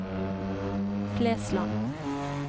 Flesland